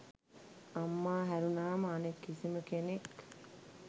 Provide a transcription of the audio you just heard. අම්මා හැරුණාම අනෙක් කිසිම කෙනෙක්